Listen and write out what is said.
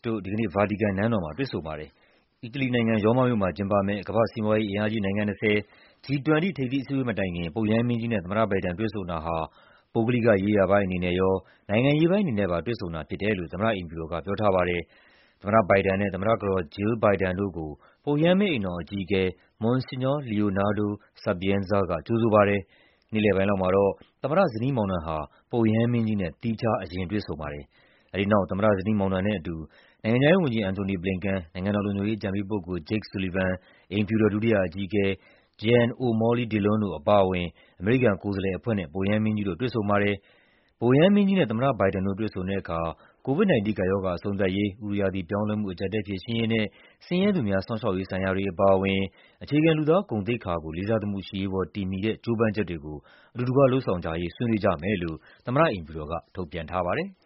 တို့ ဒီကနေ့ ဗာတီကန်နန်းတော်မှာ တွေ့ဆုံပါတယ်။ အီတလီနိုင်ငံ၊ ရောမမြို့မှာကျင်းပမယ့် ကမ္ဘာ့စီးပွားရေးအင်အားကြီး နိုင်ငံ ၂၀ G-20 ထိပ်သီးအစည်းအဝေး မတိုင်ခင် ပုပ်ရဟန်းမင်းကြီးနဲ့ သမ္မတဘိုင်ဒန် တွေ့ဆုံတာဟာ ပုဂ္ဂလိကရေးရာပိုင်းအနေနဲ့ရော နိုင်ငံရေးပိုင်းအနေနဲ့ပါ တွေ့ဆုံတာဖြစ်တယ်လို့ သမ္မတအိမ်ဖြူတော်က ဆိုပါတယ်။ သမ္မတဘိုင်ဒန်နဲ့ သမ္မတကတော် Jill Biden တို့ကို ပုပ်ရဟန်းမင်းအိမ်တော် အကြီးအကဲ Monsignor Leonardo Sapienza က ကြိုဆိုပါတယ်။ နေ့လည်ပိုင်းလောက်မှာတော့ သမ္မတ ဇနီးမောင်နှံဟာ ပုပ်ရဟန်းမင်းကြီးနဲ့ သီးခြား အရင်တွေ့ဆုံပါတယ်။ အဲဒီနောက် သမ္မတ ဇနီးမောင်နှံနဲ့အတူ နိုင်ငံခြားရေးဝန်ကြီး Antony Blinken ၊ နိုင်ငံတော်လုံခြုံရေး အကြံပေးပုဂ္ဂိုလ် Jake Sullivan ၊ အိမ်ဖြူတော် ဒုတိယအကြီးအကဲ Jen O'Malley Dillon တို့အပါအဝင် အမေရိကန်ကိုယ်စားလှယ်အဖွဲ့နဲ့ ပုပ်ရဟန်းမင်းကြီးတို့ တွေ့ဆုံပါတယ်။ ပုပ်ရဟန်းမင်းကြီးနဲ့ သမ္မတဘိုင်ဒန်တို့ တွေ့ဆုံတဲ့အခါ COVID-19 ကပ်ရောဂါ အဆုံးသတ်ရေး၊ ဥတုရာသီပြောင်းလဲမှု အကျပ်အတည်း ဖြေရှင်းရေးနဲ့ ဆင်းရဲသူများ စောင့်ရှောက်ရေးဆိုင်ရာတွေ အပါအဝင် အခြေခံ လူသားဂုဏ်သိက္ခာကို လေးစားသမှုရှိရေးပေါ် တည်မှီတဲ့ ကြိုးပမ်းချက်တွေကို အတူတကွ လုပ်ဆောင်ကြရေး ဆွေးနွေးကြမယ်လို့ သမ္မတအိမ်ဖြူတော်က ထုတ်ပြန်ထားပါတယ်။